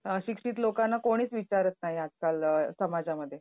अशिक्षित लोकांना कोणीच विचारत नाही आजकाल समाजामध्ये.